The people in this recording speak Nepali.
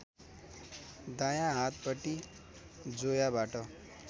दायाँ हातपटि जोयाबाट